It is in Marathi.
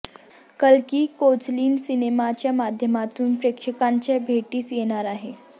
कलकी कोचलिन सिनेमांच्या माध्यमातून प्रेक्षकांच्या भेटीस येणार आहे